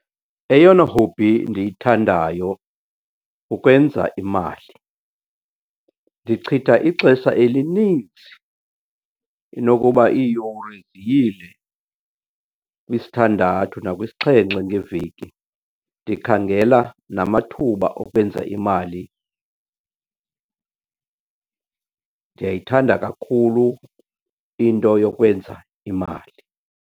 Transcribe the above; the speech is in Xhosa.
Eyona hobby ndiyithandayo kukwenza imali. Ndichitha ixesha elininzi, inokuba iiyure ziyile kwisithandathu nakwisixhenxe ngeveki ndikhangela namathuba okwenza imali. Ndiyayithanda kakhulu into yokwenza imali.